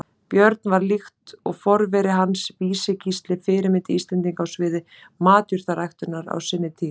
Björn varð, líkt og forveri hans Vísi-Gísli, fyrirmynd Íslendinga á sviði matjurtaræktar á sinni tíð.